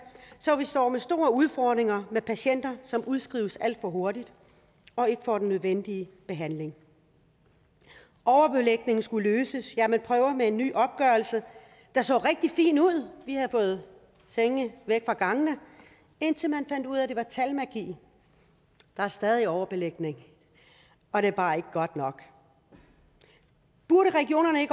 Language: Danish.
så vi står med store udfordringer med patienter som udskrives alt for hurtigt og ikke får den nødvendige behandling overbelægning skulle løses ja man prøver med en ny opgørelse der så rigtig fin ud de havde fået senge væk fra gangene indtil vi fandt ud af at det var talmagi der er stadig overbelægning og det er bare ikke godt nok burde regionerne